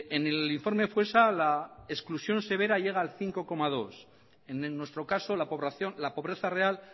en el informe foessa la exclusión severa llega al cinco coma dos por ciento en nuestro caso la pobreza real